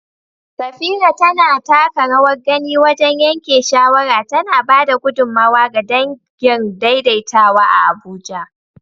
Safira tana taka rawar gani wajen yanke shawara, tana ba da gudummawa ga dangin daidaitawa a Abuja